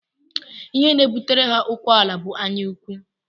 Ihe na-ebutere ha okuw ala bụ anyaụkwụ